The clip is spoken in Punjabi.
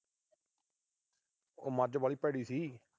ਓ ਮੱਝ ਵਾਹਲੀ ਭੈੜੀ ਸੀ।